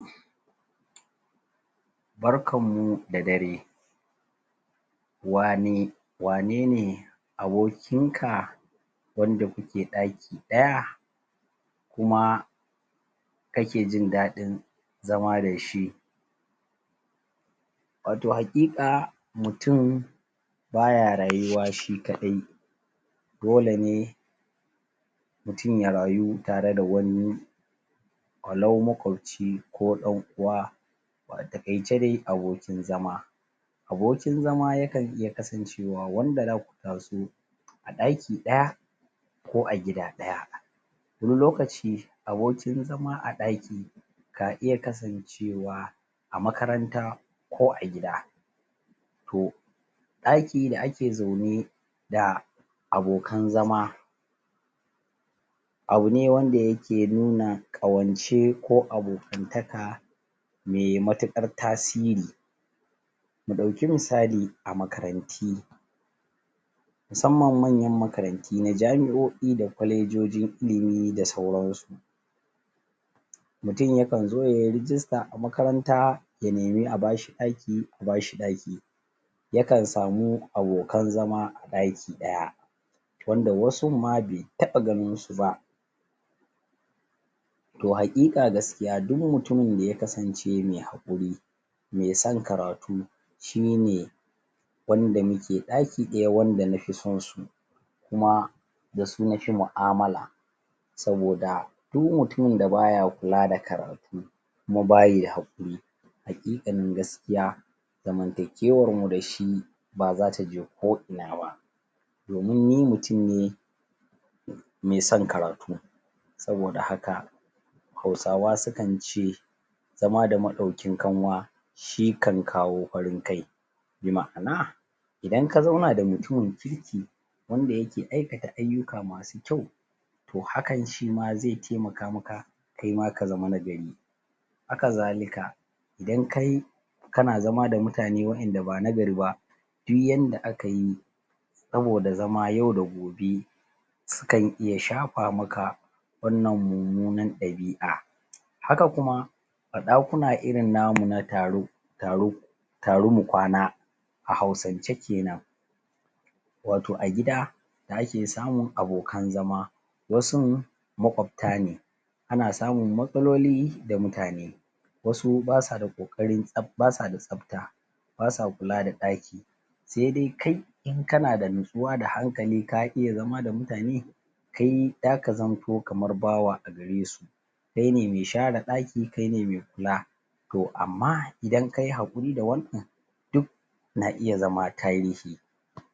Barkan mu dare wane wane ne abokinka wanda kuke ɗaki ɗaya kuma kake jin ɗaɗin zama da shi wato haƙiƙa mutum ba ya rayuwa shi kaɗai dole ne mutum ya rayu tare da wani walau makwabci ko ɗan uwa a taƙaice dai abokin zama abokin zama ya kan iya kasancewa wanda za ku taso ɗaki ɗaya ko a gida ɗaya wani lokaci abokin zama a ɗaki na iya kasancewa a makaranta ko a gida to ɗaki da ake zaune da abokan zama abu ne wanda yake nuna ƙawance ko abokantaka me matuƙar tasiri mu ɗauki misali a makaranti musamman manya makaranti na jami'o'i da kwalejojin ilimi da sauransu mutum ya kan zo ya yi rijista a makaranta ya nemi a ba shi ɗaki a ba shi daki ya kan samu abokan zama a ɗaki ɗaya wanda wasun ma be taɓa ganin su ba to haƙiƙa gaskiya duk mutumin da ya kasance me hakuri me san karatu shi ne wanda muke ɗaki ɗaya wanda na fi son su kuma da su na fi mu'amala saboda du mutumin da ba ya kula da karatu kuma ba yi haƙuri haƙiƙanin gaskiya zamantakewar mu da shi ba za ta je ko'ina ba domin ni mutum ne me son karatu saboda haka Hausawa su kan ce zama da maɗaukin kanwa shin kan kawo farin kai bi ma'ana idan ka zauna da mutumin kirki wanda yake aikata ayyuka masu kyau to hakan shi ma ze temaka maka kai ma ka zama na gari haka zalika idan kai kana zama da mutane waƴanda ba nagari ba duk yanda aka yi saboda zama yau da gobe su kan iya shafa maka wannan mummuna ɗabi'a haka kuma a ɗakuna irin namu na taro taro taru mu kwana a Hausance kenan wato a gida da ake samun abokan zama wasun maƙwabta ne ana samun matsaloli da mutane wasu ba sa da ƙoƙarin ba sa da tsafta ba sa kula da ɗaki se de kai in kana da nutsuwa da hankali ka iya zama da mutane kai za ka zamto kamar bawa a gare su kai ne me share ɗaki kai ne me kula to amma idan ka yi haƙuri da wannan duk na iya zama tarihi